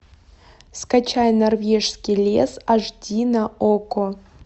скачай норвежский лес аш ди на окко